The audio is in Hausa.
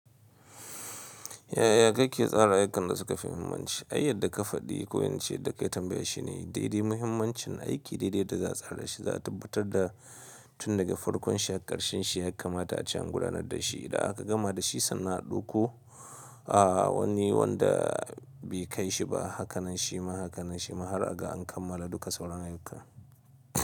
Ya'ya kake tsara ayyukan da suka fi muhimmanci, ai yadda ka faɗi ko ince da ka yi tambayan shi ne daidai muhimmancin aiki daidai da yadda za a tsara shi, za a tabbatar da tun daga farkon shi har ƙarshen shi, ya kamata a ce an gudanar da shi. Idan aka gama da shi sannan a ɗauko a wani wanda bai kai shi ba. Hakanan shi ma, hakanan shi ma har aga an kammala duka sauran ayyukan.